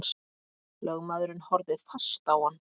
Lögmaðurinn horfði fast á hann.